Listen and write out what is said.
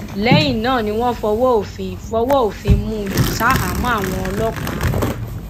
lẹyìn náà ni wọn fọwọ òfin fọwọ òfin mú un ju ṣahámọ àwọn ọlọpàá